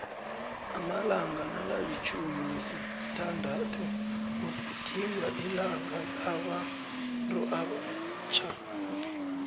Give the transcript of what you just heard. amalanga nakamtjhumi nesithandathu kugidingwa ilanga labantuabatjha